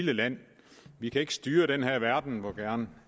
land vi kan ikke styre den her verden hvor gerne